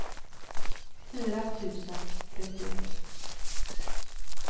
fyra tusen trettioett